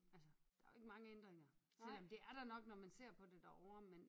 Altså der er jo ikke mange ændringer selvom det er der nok hvis man ser på det derovre men